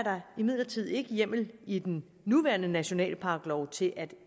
hjemmel i den nuværende nationalparklov til at